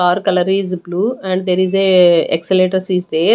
Car color is blue and there is a accelerators is there.